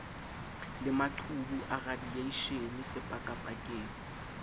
le maqhubu a radieishene sepakapakeng